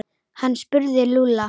Hann spurði Lúlla.